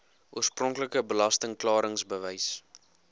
oorspronklike belasting klaringsbewys